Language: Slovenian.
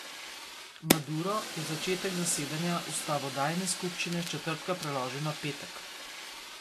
Maduro je začetek zasedanja ustavodajne skupščine s četrtka preložil na petek.